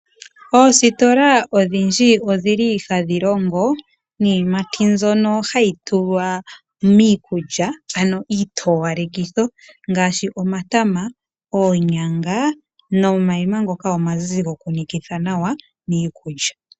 Oositola odhindji odhili hadhi longo niiyimati mbyono hayi tulwa miikulya ano iitowalekitho. Ngaashi omatama, onyanga nomayima ngoka omazizi goku nikitha nawa miikulya.